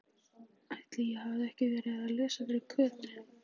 Ætli ég hafi ekki verið að lesa fyrir Kötu.